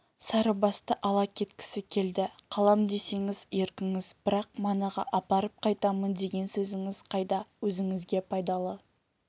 сарыбасты ала кеткісі келді қалам десеңіз еркіңіз бірақ манағы апарып қайтамын деген сөзіңіз қайда өзіңізге пайдалы